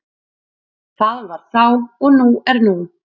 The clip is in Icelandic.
Það var þá og nú er nú.